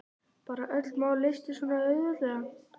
Bara að öll mál leystust svona auðveldlega.